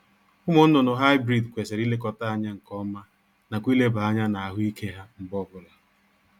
Ụmụ nnụnụ Hybrid kwesịrị ilekọta anya nkeọma nakwa ileba anya n'ahụ ike ha mgbe ọ bụla